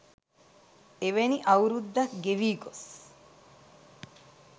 එවැනි අවුරුද්දක් ගෙවී ගොස්